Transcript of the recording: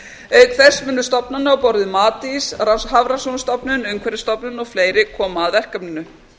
auk þess munu stofnanir á borð við matís hafrannsóknastofnun umhverfisstofnun og fleiri koma að verkefninu